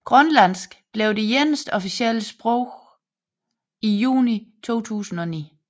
Grønlandsk blev det eneste officielle sprog i juni 2009